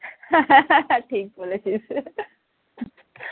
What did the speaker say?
ঠিক বলেছিস